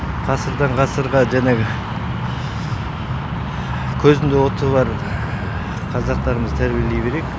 ғасырдан ғасырға жаңағы көзінде оты бар қазақтарымызды тәрбиелей берейік